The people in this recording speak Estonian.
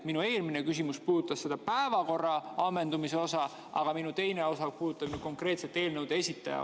Minu eelmine küsimus puudutas päevakorra ammendumist, aga minu küsimuse teine osa puudutab konkreetselt eelnõude esitajat.